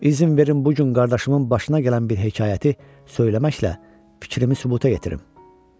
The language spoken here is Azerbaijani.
İzin verin bu gün qardaşımın başına gələn bir hekayəti söyləməklə fikrimi sübuta yetirim.